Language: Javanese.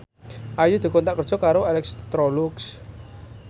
Ayu dikontrak kerja karo Electrolux